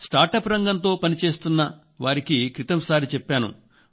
startup రంగంతో పనిచేస్తున్న వారికి క్రితం సారి చెప్పాను